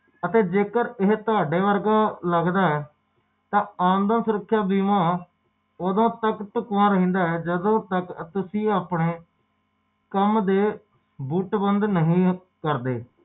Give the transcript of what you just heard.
ਓਹਦੇ ਬਾਅਦ ਜਦੋ ਓਹਦੇ ਆਪਣੇ